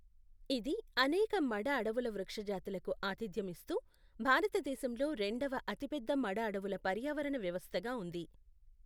ఇది అనేక మడ అడవుల వృక్ష జాతులకు ఆతిథ్యం ఇస్తూ, భారతదేశంలో రెండవ అతిపెద్ద మడ అడవుల పర్యావరణ వ్యవస్థగా ఉంది.